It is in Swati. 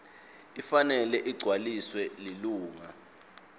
ifanele igcwaliswe lilunga